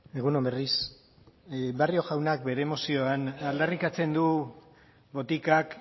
egun on berriz barrio jaunak bere mozioan aldarrikatzen du botikak